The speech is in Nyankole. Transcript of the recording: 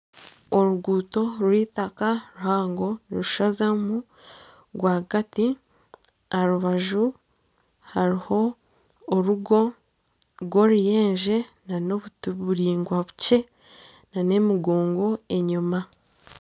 Oruguuto rw'eitaaka ruhango rushazamu rwagati aha rubaju hariho orugo rw'oruyenje na n'obuti buraingwa bukye na n'emigongo enyuma.